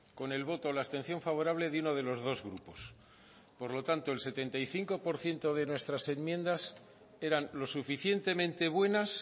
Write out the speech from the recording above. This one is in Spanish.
con el voto o la abstención favorable de uno de los dos grupos por lo tanto el setenta y cinco por ciento de nuestras enmiendas eran lo suficientemente buenas